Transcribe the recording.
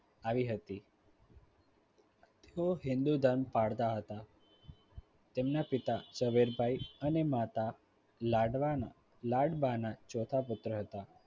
આવી હતી. તેઓ હિન્દુ ધર્મ પાળતા હતા. તેમના પિતા ઝવેરભાઈ અને માતા લાડવાના લડબાના ચોથા પુત્ર હતા આવી.